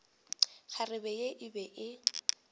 kgarebe ye e be e